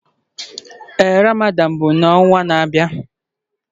Ee Ramadan bụ n'ọnwa na-abịa.